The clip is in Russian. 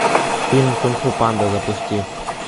фильм кунг фу панда запусти